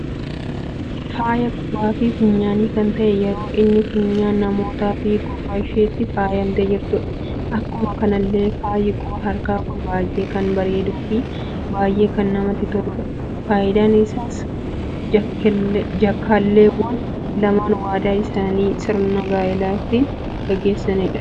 Faaya quba fi funyaani kan ta'e yeroo inni funyaan namoota fi gurra isheetti faayamte jirtudha. Akkuma kanallee faayi quba harkaa kun baay'ee kan bareeduu fi baay'ee kan namatti toludha. Faayidan isaas jaakalleewwan laman waadaa fi sirna gaa'eela kan ittin geggeffatanidha.